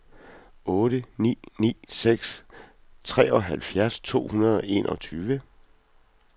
otte ni ni seks treoghalvfjerds to hundrede og enogtyve